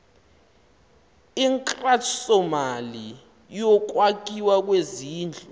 inkxasomali yokwakhiwa kwezindlu